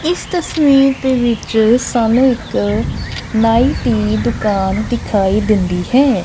ਇਸ ਤਸਵੀਰ ਦੇ ਵਿੱਚ ਸਾਨੂੰ ਇੱਕ ਨਾਈ ਦੀ ਦੁਕਾਨ ਦਿਖਾਈ ਦਿੰਦੀ ਹੈ।